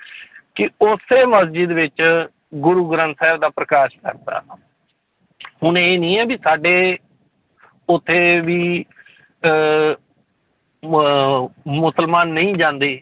ਕਿ ਉਸੇ ਮਸਜਿਦ ਵਿੱਚ ਗੁਰੂ ਗ੍ਰੰਥ ਸਾਹਿਬ ਦਾ ਪ੍ਰਕਾਸ਼ ਕਰ ਦਿੱਤਾ ਹੁਣ ਇਹ ਨੀ ਹੈ ਵੀ ਸਾਡੇ ਉੱਥੇ ਵੀ ਅਹ ਮ~ ਮੁਸਲਮਾਨ ਨਹੀਂ ਜਾਂਦੇ